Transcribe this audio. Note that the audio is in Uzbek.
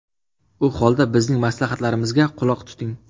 U holda bizning maslahatlarimizga quloq tuting.